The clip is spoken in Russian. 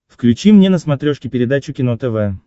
включи мне на смотрешке передачу кино тв